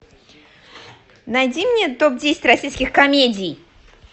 найди мне топ десять российских комедий